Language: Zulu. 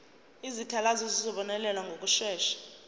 izikhalazo zizobonelelwa ngokushesha